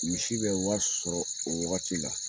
Misi be wari sɔrɔ o wagati la